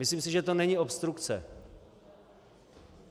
Myslím si, že to není obstrukce.